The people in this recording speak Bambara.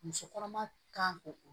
Muso kɔnɔma kan k'o